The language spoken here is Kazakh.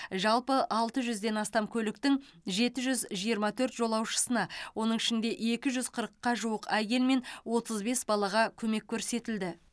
жалпы алты жүзден астам көліктің жеті жүз жиырма төрт жолаушысына оның ішінде екі жүз қырыққа жуық әйел мен отыз бес балаға көмек көрсетілді